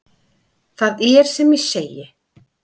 Það er sem ég segi.